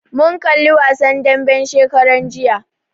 Mun kalli wasan dambe shekaran jiya